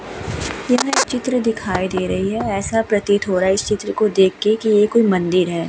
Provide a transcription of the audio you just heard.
यहाँ एक चित्र दिखाई दे रही है ऐसा प्रतीत हो रहा है इस चित्र को देखकर की ये कोई मंदिर है।